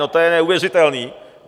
No to je neuvěřitelný.